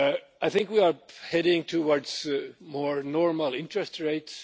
I think we are heading towards more normal interest rates.